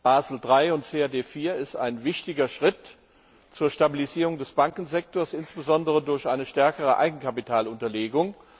Basel III und CRD IV sind wichtige Schritte zur Stabilisierung des Bankensektors, insbesondere durch eine stärkere Eigenkapitalunterlegung.